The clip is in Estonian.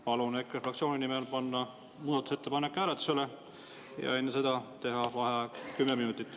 Palun EKRE fraktsiooni nimel panna see muudatusettepanek hääletusele ja enne seda teha vaheaeg kümme minutit.